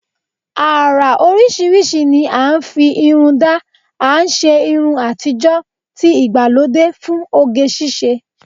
Ara oríṣiríṣi ni à ń fi irun dá, à ń ṣé irun àtijọ́, ti ìgbàlódé fún oge ṣíṣe